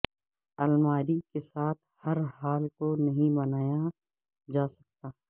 الماری کے ساتھ ہر ہال کو نہیں بنایا جا سکتا